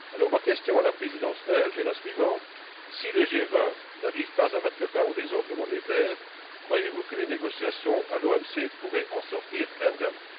Ma question à la Présidence belge est la suivante si le G20 n'arrive pas à mettre fin aux désordres monétaires, croyez vous que les négociations à l'OMC pourraient en sortir indemnes?